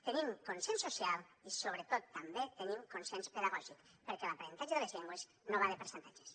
tenim consens social i sobretot també tenim consens pedagògic perquè l’aprenentatge de les llengües no va de percentatges